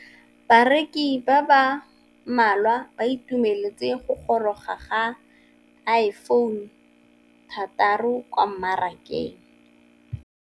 Bareki ba ba malwa ba ituemeletse go gôrôga ga Iphone6 kwa mmarakeng.